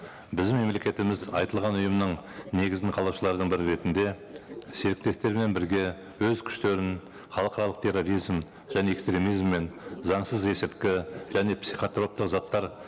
біздің мемлекетіміз айтылған ұйымның негізін қалаушыларының бірі ретінде серіктестермен бірге өз күштерін халықаралық терроризм және экстремизм мен заңсыз есірткі және психотроптық заттар